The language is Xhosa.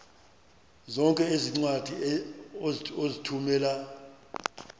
zonke iincwadi ozithumela